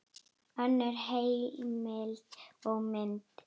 Önnur heimild og mynd